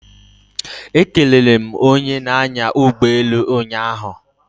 Ekelere m onye na-anya ụgbọelu ụnyaahụ